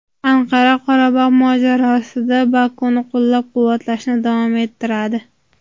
Anqara Qorabog‘ mojarosida Bokuni qo‘llab-quvvatlashni davom ettiradi.